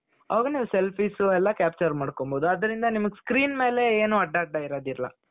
ಆಗ ನಾವು selfies ಎಲ್ಲಾ capture ಮಾಡ್ಕೊಳ್ಬಹುದು ಅದರಿಂದ ನಿಮಗೆ screen ಮೇಲೆ ಏನೂ ಅಡ್ಡ ಅಡ್ಡಇರೋದಿಲ್ಲ .